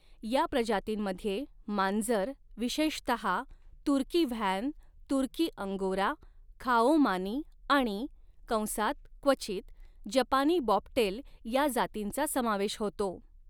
या प्रजातींमध्ये मांजर, विशेषतहा तुर्की व्हॅन, तुर्की अंगोरा, खाओ मानी आणि कंसात क्वचित जपानी बॉबटेल या जातींचा समावेश होतो.